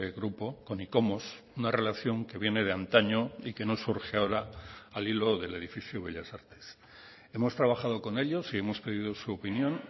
grupo con icomos una relación que viene de antaño y que nos surge ahora al hilo del edificio bellas artes hemos trabajado con ellos y hemos pedido su opinión